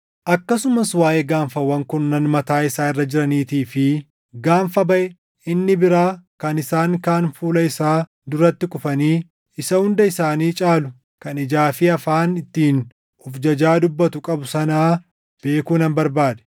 Akkasumas waaʼee gaanfawwan kurnan mataa isaa irra jiraniitii fi gaanfa baʼe inni biraa kan isaan kaan fuula isaa duratti kufanii, isa hunda isaanii caalu kan ijaa fi afaan ittiin of jajaa dubbatu qabu sanaa beekuu nan barbaade.